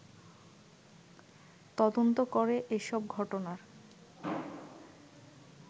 তদন্ত করে এসব ঘটনার